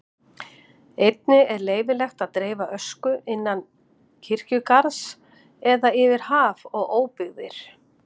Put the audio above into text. Einnig er leyfilegt að dreifa ösku innan kirkjugarðs eða yfir haf og óbyggðir.